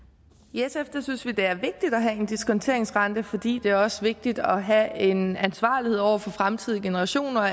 i sf synes vi det er vigtigt at have en diskonteringsrente fordi det også er vigtigt at have en ansvarlighed over for fremtidige generationer